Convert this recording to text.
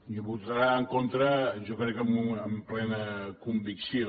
hi votarà en contra jo ho crec amb plena convicció